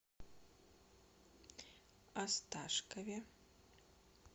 осташкове